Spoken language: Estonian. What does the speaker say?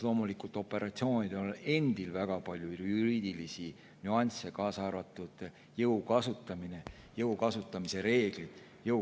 Loomulikult on operatsioonidel endil väga palju juriidilisi nüansse, kaasa arvatud jõu kasutamise reeglid.